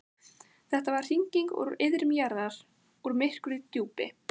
Þetta var hringing úr iðrum jarðar, úr myrku djúpi.